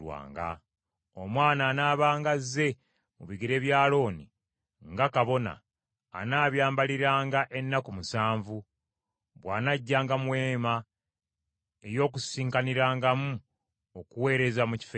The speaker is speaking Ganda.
Omwana anaabanga azze mu bigere bya Alooni nga kabona, anaabyambaliranga ennaku musanvu, bw’anajjanga mu Weema ey’Okukuŋŋaanirangamu okuweereza mu Kifo Ekitukuvu.